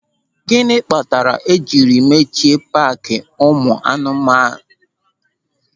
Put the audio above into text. Gịnị kpatara e jiri mechie paaki ụmụ anụ ọhịa ahụ?